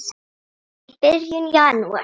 í byrjun janúar.